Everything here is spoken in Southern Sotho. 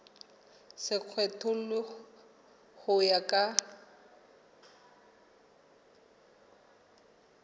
se kgethollwe ho ya ka